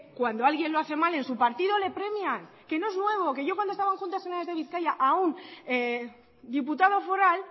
cuando alguien lo hace mal en su partido le premian que no es nuevo que yo cuando estaba en juntas generales de bizkaia a un diputado foral